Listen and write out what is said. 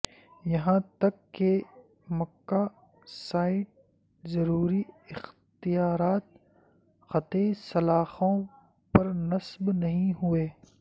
یہاں تک کہ مکا سائٹ ضروری اختیارات قاطع سلاخوں پر نصب نہیں ہوئے